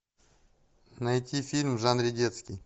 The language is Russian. найти фильм в жанре детский